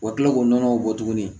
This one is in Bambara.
U ka kila k'o nɔnɔw bɔ tuguni